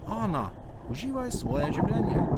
Ana, uživaj svoje življenje.